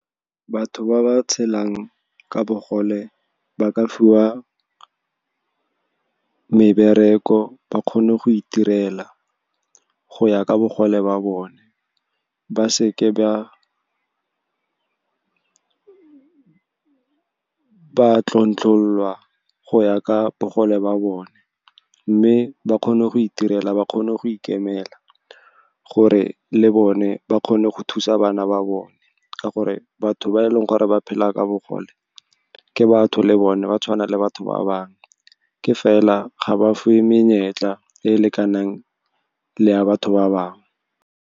Batho ba ba tshelang ka bogole ba ka fiwa mebereko, ba kgone go itirela go ya ka bogole ba bone, ba seke ba tlontlollwa go ya ka bogole ba bone. Mme ba kgone go itirela, ba kgone go ikemela, gore le bone ba kgone go thusa bana ba bone. Ka gore batho ba eleng gore ba phela ka bogole ke batho le bone, ba tshwana le batho ba bangwe, ke fela ga ba fiwe menyetla e lekanang le ya batho ba bangwe.